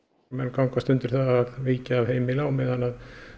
menn gangast undir það að víkja af heimili á meðan